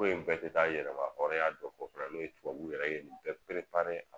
Ko in bɛɛ te taa yɛrɛmahɔrɔnya dɔ fɔ fana n'o ye tubabuw yɛrɛ ye nin bɛɛ a